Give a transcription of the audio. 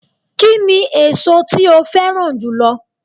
Kíni èso tí o féràn jùlo